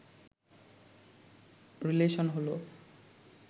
relation হলো